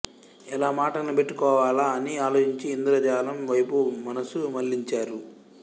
ఎలా మాట నిలబెట్టుకోవాలా అని ఆలోచించి ఇంద్రజాలం వైపు మనస్సు మళ్ళించారు